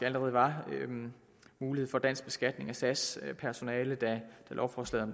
allerede var mulighed for dansk beskatning af sas personale da lovforslaget